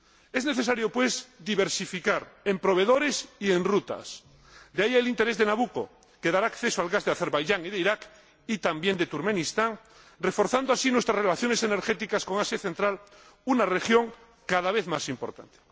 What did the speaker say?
Es necesario, pues, diversificar en proveedores y en rutas. De ahí el interés de Nabucco, que dará acceso al gas de Azerbaiyán y de Iraq y también de Turkmenistán, reforzando así nuestras relaciones energéticas con Asia central, una región cada vez más importante.